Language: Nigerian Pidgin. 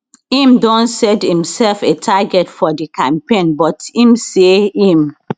im don set imsef a target for di campaign but im say im